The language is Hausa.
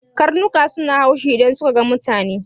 Karnuka suna haushi idan suka ga mutane.